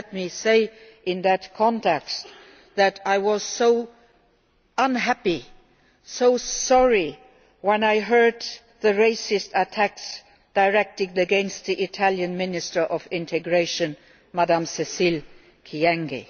and let me say in that context that I was so unhappy, so sorry, when I heard the racist attacks directed against the Italian Minister of Integration, Mrs Cécile Kyenge.